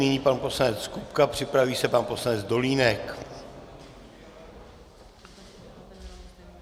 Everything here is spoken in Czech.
Nyní pan poslanec Kupka, připraví se pan poslanec Dolínek.